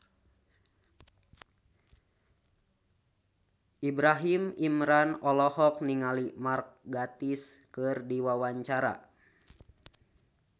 Ibrahim Imran olohok ningali Mark Gatiss keur diwawancara